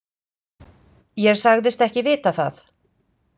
Ég sagðist ekki vita það.